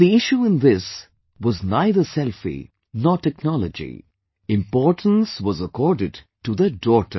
And the issue in this was neither selfie, nor technology,... importance was accorded to the daughter